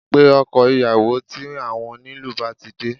Pe ọkọ ìyàwó tí àwọn onílù bá ti de